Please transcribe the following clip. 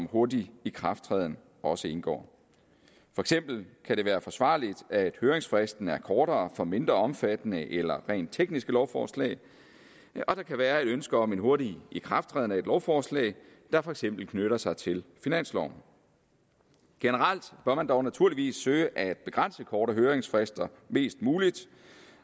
hurtig ikrafttræden også indgår for eksempel kan det være forsvarligt at høringsfristen er kortere for mindre omfattende eller rent tekniske lovforslag og der kan være et ønske om en hurtig ikrafttræden af et lovforslag der for eksempel knytter sig til finansloven generelt bør man dog naturligvis søge at begrænse korte høringsfrister mest muligt